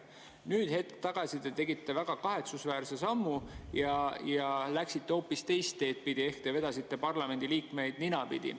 Nüüd hetk tagasi te tegite väga kahetsusväärse sammu ja läksite hoopis teist teed pidi ehk te vedasite parlamendiliikmeid ninapidi.